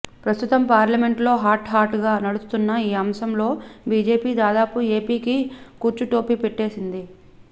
ప్రస్తుతం పార్లమెంట్ లో hot hot గా నడుస్తున్న ఈ అంశంలో బీజేపీ దాదాపుగా ఎపీకి కుచ్చు టోపీ పెట్టేసింది